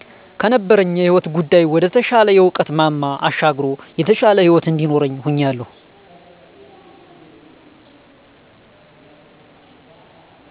ከነበረኝ የህይወት ጉዳይ ወደ ተሻለ የእዉቀት ማማ አሻግሮ የተሻለ ህይወት እንዲኖርኝ ሁኛለሁ